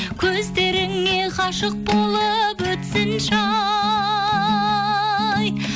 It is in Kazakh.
көздеріңе ғашық болып өтсінші ай